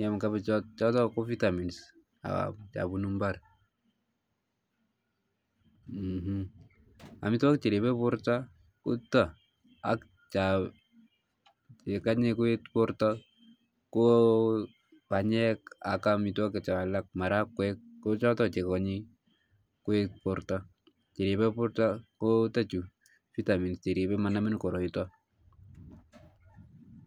iam kapichot choto ko vitamins cho punu mbar ,amitwokik che ripo porto ko chuta ak cha kanye koet porto ko panyek ak amitwokik cho alake marakwek ko choto che kanyi koet porto ,che ripe porto ko chutachu vitamins che ripe porto manamin koroito